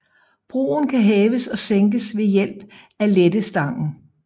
Broen kan hæves og sænkes ved hjælp af lettestangen